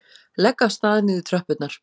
Legg af stað niður tröppurnar.